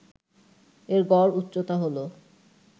এর গড় উচ্চতা হল